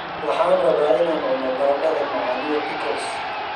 Waxaan rabaa inaan cuno baradhada macaan iyo pickles.